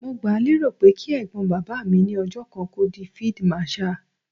Mo gbáà lérò pé kí Ẹ̀gbọ́n bàbá mi ní ọjọ́ kan kó di fíídí màṣaà.